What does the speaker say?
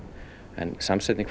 en samsetning